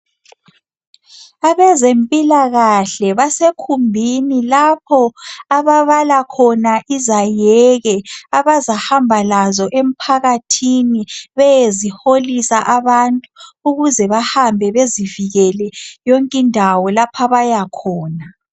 Abezempilakahle basekhumbini lapho ababala khona izaheke abazahamba lazo emphakathini beyeziholisa abantu ukuze bahambe bezivikele yonkindawo lapho abayakhona.